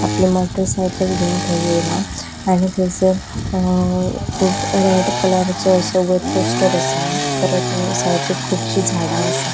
आपली motorcycle घेवन थंय ऐयला आनी थंयसर अ खूब रेड कलराचो असो वयर पोस्टर असा परत सायडिक खुबशि झाडा आसा.